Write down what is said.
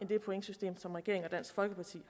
det pointsystem som regeringen og dansk folkeparti